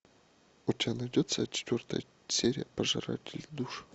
у тебя найдется четвертая серия пожиратели душ